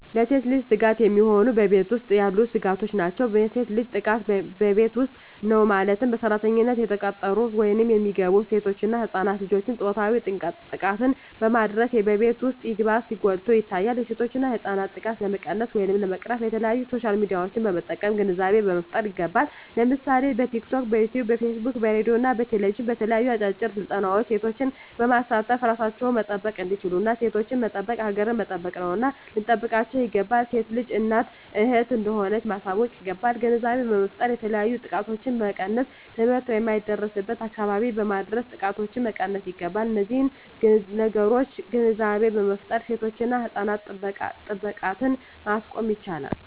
ለሴት ልጅ ስጋት የሚሆኑ በቤት ውስጥ ያሉ ስጋቶች ናቸው። የሴት ልጅ ጥቃት በቤት ውስጥ ነው ማለትም በሰራተኝነት የተቀጠሩ ወይም የሚገቡ ሴቶች እና ህፃናት ልጆችን ፆታዊ ጥቃትን በማድረስ በቤት ውስጥ ይባስ ጎልቶ ይታያል የሴቶችና ህፃናት ጥቃት ለመቀነስ ወይም ለመቅረፍ በተለያዪ በሶሻል ሚዲያዎችን በመጠቀም ግንዛቤ መፍጠር ይገባል ለምሳሌ በቲክቶክ, በዩቲቪ , በፌስቡክ በሬድዬ እና በቴሌቪዥን በተለያዩ አጫጭር ስልጠናዎች ሴቶችን በማሳተፍ እራሳቸውን መጠበቅ እንዲችሉና ሴቶችን መጠበቅ ሀገርን መጠበቅ ነውና ልንጠብቃቸው ይገባል። ሴት ልጅ እናት እህት እንደሆነች ማሳወቅ ይገባል። ግንዛቤ በመፍጠር የተለያዩ ጥቃቶችን መቀነስ ትምህርት የማይደርስበትን አካባቢዎች በማድረስ ጥቃቶችን መቀነስ ይገባል። በነዚህ ነገሮች ግንዛቤ በመፍጠር የሴቶችና የህፃናት ጥቃትን ማስቆም ይቻላል።